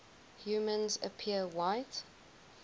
humans appear white